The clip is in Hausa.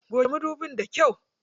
Goge madubin da kyau.